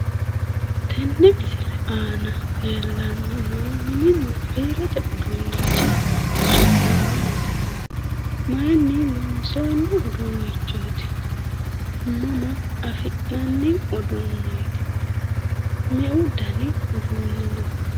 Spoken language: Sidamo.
Tenne misile aana leellanni noo mininna biirote uduunnichi su'mi maati? maayiinni loonsoonni uduunnichooti? mama afi'nanni uduunneeti? meu dani uduunni no?